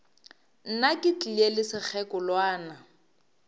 nna ke tlile le sekgekolwana